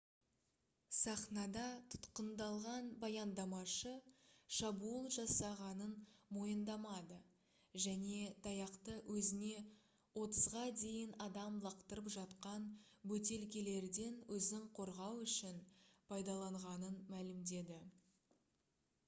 сахнада тұтқындалған баяндамашы шабуыл жасағанын мойындамады және таяқты өзіне отызға дейін адам лақтырып жатқан бөтелкелерден өзін қорғау үшін пайдаланғанын мәлімдеді